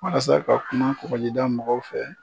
Walasa ka kuma kɔgɔjida mɔgɔw fɛ.